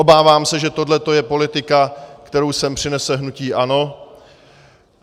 Obávám se, že tohle je politika, kterou sem přinese hnutí ANO.